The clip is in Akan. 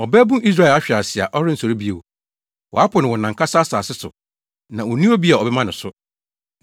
“Ɔbabun Israel ahwe ase a ɔrensɔre bio, wɔapo no wɔ nʼankasa asase so, na onni obi a ɔbɛma no so.”